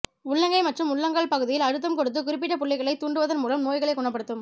உள்ளங்கை மற்றும் உள்ளங்கால் பகுதியில் அழுத்தம் கொடுத்துக் குறிப்பிட்ட புள்ளிகளைத் தூண்டுவதன் மூலம் நோய்களைக் குணப்படுத்தும்